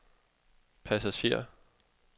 passager